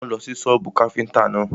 Wọ́n ń lọ sí sọ́bù káfíntà náà.